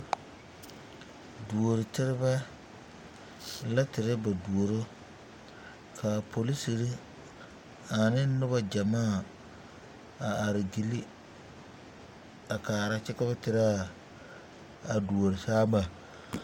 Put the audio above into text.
Duoro terebɛ la terɛ ba duoro ka a polisiri ane noba gyamaa a are gyili a kaara kyɛ ka ba teraa a duorosaama.